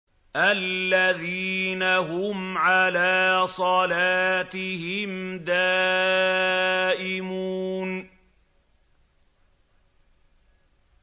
الَّذِينَ هُمْ عَلَىٰ صَلَاتِهِمْ دَائِمُونَ